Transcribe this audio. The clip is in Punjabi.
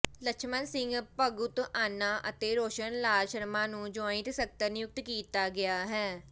ਲਛਮਣ ਸਿੰਘ ਭਗਤੂਆਣਾ ਅਤੇ ਰੌਸ਼ਨ ਲਾਲ ਸ਼ਰਮਾ ਨੂੰ ਜੁਆਇੰਟ ਸਕੱਤਰ ਨਿਯੁਕਤ ਕੀਤਾ ਗਿਆ ਹੈ